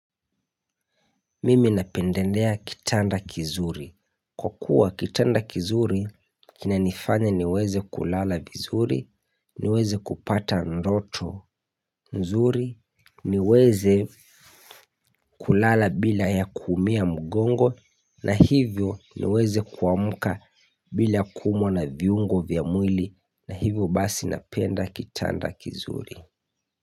Mimi napendelea kitanda kizuri. Kwa kuwa kitanda kizuri, kina nifanya niweze kulala vizuri, niweze kupata ndoto nzuri, niweze kulala bila ya kuumia mugongo, na hivyo niweze kuamuka bila kumwa na viungo vya mwili, na hivyo basi napenda kitanda kizuri.